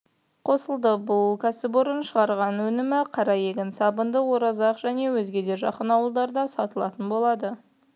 қосылды бұл кәсіпорынның шығарған өнімі қараегін сабынды оразақ және өзге де жақын ауылдарда сатылатын болады